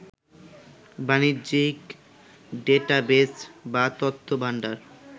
বাণিজ্যিক ডেটাবেজ বা তথ্যভাণ্ডার